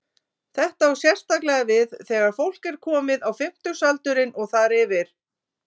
Þetta á sérstaklega við þegar fólk er komið á fimmtugsaldurinn og þar yfir.